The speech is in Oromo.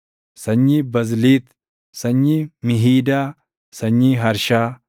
sanyii Bazliit, sanyii Mihiidaa, sanyii Harshaa,